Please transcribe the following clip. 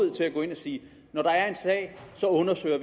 sige at når der er en sag så undersøger